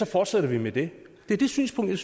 fortsætter vi med det det er det synspunkt